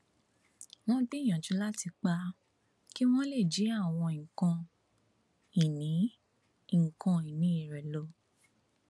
wọn gbìyànjú láti pa á kí wọn lè jí àwọn nǹkan ìní nǹkan ìní rẹ lọ